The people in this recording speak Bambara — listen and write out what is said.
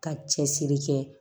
Ka cɛsiri kɛ